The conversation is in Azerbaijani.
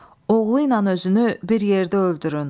Oğluynan özünü bir yerdə öldürün.